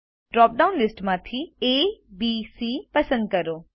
drop down લીસ્ટમાંથી abસી પસંદ કરો